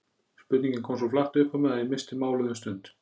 Spurningin kom svo flatt upp á mig að ég missti málið um stund.